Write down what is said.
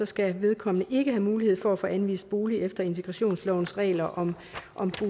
skal vedkommende ikke have mulighed for at få anvist bolig efter integrationslovens regler om om